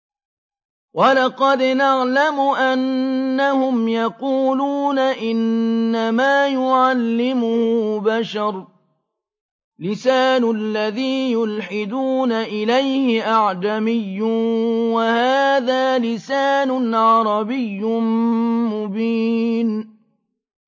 وَلَقَدْ نَعْلَمُ أَنَّهُمْ يَقُولُونَ إِنَّمَا يُعَلِّمُهُ بَشَرٌ ۗ لِّسَانُ الَّذِي يُلْحِدُونَ إِلَيْهِ أَعْجَمِيٌّ وَهَٰذَا لِسَانٌ عَرَبِيٌّ مُّبِينٌ